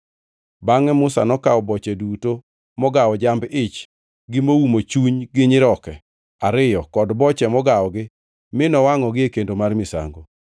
Bangʼe Musa nokawo boche duto mogawo jamb-ich gi moumo chuny gi nyiroke ariyo kod boche mogawogi mi nowangʼogi e kendo mar misango.